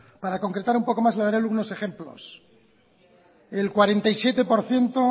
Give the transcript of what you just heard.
para concretar un poco más le daré algunos ejemplos el cuarenta y siete por ciento